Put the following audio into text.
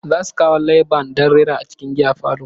Za su kawo live band don rera a cikin giya parlour.